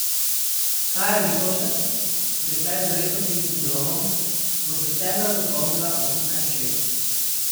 Kaja Lipovšek, dekle z rettovim sindromom, bo septembra dopolnila osemnajst let.